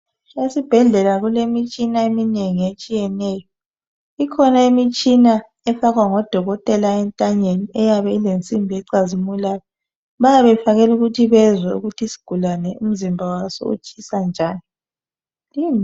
Esibhedlela kulemitshina eminengi etshiyeneyo ikhona imitshina efakwa ngodokotela entanyeni eyabe ilensimbi ecazimulayo bayabe befakela ikuthi bazwe ukurhi isigulane imzimba waso utshisa njani